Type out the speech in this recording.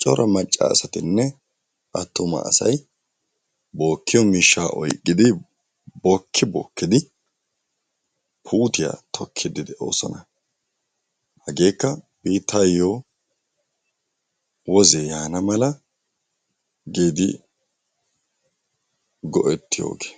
cora macca asatinne attuma asayi bookkiyoba miishshaa oyqqidi bookki bookkidi puutiya tokkiiddi de"oosona. Hageekka biittaayyo wozee yaana mala giidi go"ettiyooge.